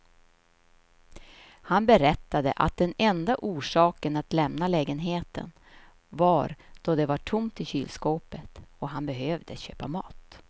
Han berättade att den enda orsaken att lämna lägenheten var då det var tomt i kylskåpet och han behövde köpa mat.